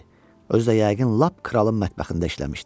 Özü də yəqin lap kralın mətbəxində işləmişdi.